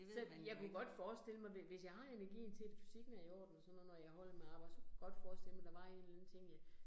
Selv, jeg kunne godt forestille mig, hvis jeg har energien til det, fysikken er i orden og sådan noget, når jeg holder med arbejde, så kunne godt forestille mig, der var en eller anden ting jeg